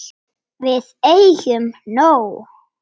Við eigum nóg.